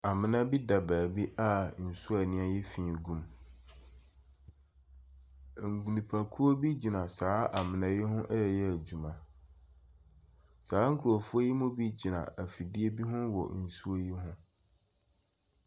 Amona bi da baabi a nsuo a ayɛ fi gu mu. Enipakuo bi gyina saa amuna yi hu ɛɛyɛ edwuma. Saa nkrɔfo yi bi gyina efidie bi ho wɔ nsuo yi hu.